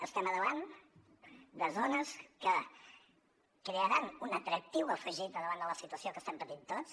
estem al davant de zones que crearan un atractiu afegit davant de la situació que estem patint tots